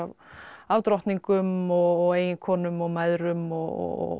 af drottningum og og eiginkonum og mæðrum og